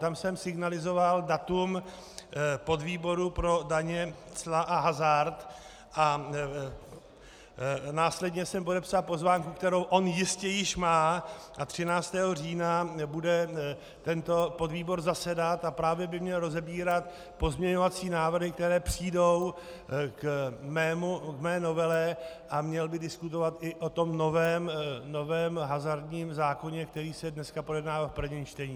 Tam jsem signalizoval datum podvýboru pro daně, cla a hazard a následně jsem podepsal pozvánku, kterou on jistě již má, a 13. října bude tento podvýbor zasedat a právě by měl rozebírat pozměňovací návrhy, které přijdou k mé novele, a měl by diskutovat i o tom novém hazardním zákoně, který se dneska projednává v prvním čtení.